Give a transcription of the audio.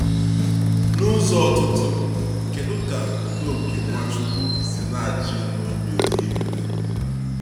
N’ụzọ ọ̀tụ̀tù, kedu ka ‘udo nke Nwachukwu’ si na-achị n’obi onye Igbo?